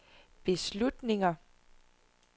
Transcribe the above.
beslutninger